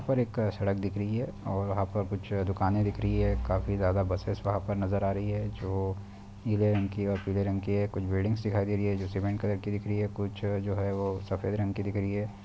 और एक सड़क दिख रही है और वहां पर कुछ दुकानें दिख रही है काफी ज्यादा बसेज़ वहां पर नजर आ रही है जो नीले रंग की और पीले रंग की है कुछ बिल्डिंग्स दिखाई दे रही हैं जो सीमेंट कलर की दिख रही है कुछ जो है वो सफेद रंग की दिख रही है।